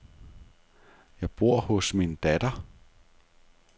Jeg bor hos min datter.